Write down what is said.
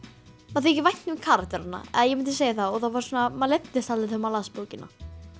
manni þykir vænt um karakterana eða ég myndi segja það og það var svona manni leiddist aldrei þegar maður las bókina